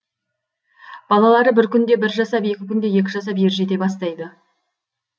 балалары бір күнде бір жасап екі күнде екі жасап ержете бастайды